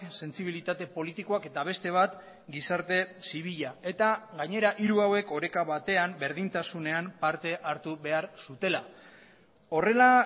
sentsibilitate politikoak eta beste bat gizarte zibila eta gainera hiru hauek oreka batean berdintasunean parte hartu behar zutela horrela